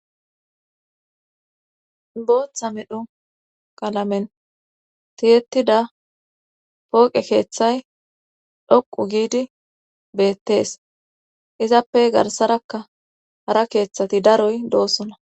booththa midhu qalamen tiyetida pooqe keeththay dhoqu giidi beettees izappe garsarakka hara keeththati daroy doosona